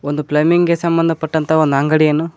ಒಂದು ಪ್ಲಂಬಿಂಗೆ ಸಂಬಂಧ ಪಟ್ಟಂತ ಅಂಗಡಿಯನ್ನು--